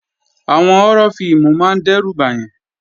Àwọn họ́rọ́ fíìmù máa ń dẹ́rù bàyàn